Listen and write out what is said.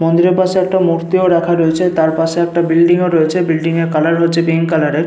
মন্দিরের পাশে একটা মূর্তি ও রাখা রয়েছে। তার পাশে একটা বিল্ডিং ও রয়েছে। বিল্ডিং এর কালার হচ্ছে পিঙ্ক কালারের ।